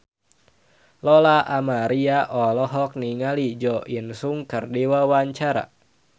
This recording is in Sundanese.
Lola Amaria olohok ningali Jo In Sung keur diwawancara